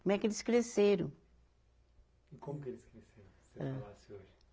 Como é que eles cresceram. E como que eles cresceram se falasse hoje